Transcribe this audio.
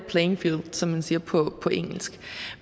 playing field som man siger på engelsk